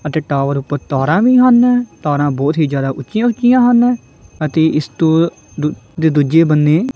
ਅਤੇ ਟਾਵਰ ਊਪਰ ਤਰ੍ਹਾਂ ਵੀ ਹਨ ਤਾਰਾਂ ਬੋਹੁਤ ਹੀ ਜਿਆਦਾ ਉਂਚੀਆਂ ਉਂਚੀਆਂ ਹਨ ਅਤੇ ਇਸਤੋਂ ਦੁ ਜੇ ਦੁੱਜੇ ਬੰਨੇ--